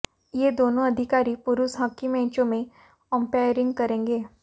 ये दोनों अधिकारी पुरुष हॉकी मैचों में अंपायरिंग करेंगे